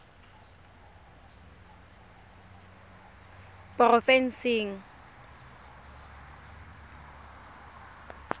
porofensing